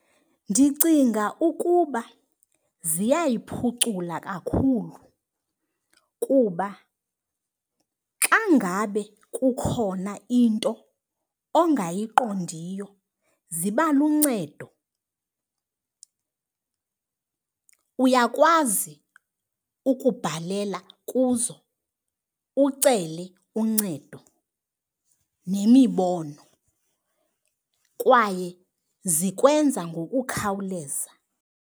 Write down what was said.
Ndicinga ukuba ziyayiphucula kakhulu kuba xa ngabe kukhona into ongayiqondiyo ziba luncedo. Uyakwazi ukubhalela kuzo ucele uncedo nemibono kwaye zikwenza ngokukhawuleza.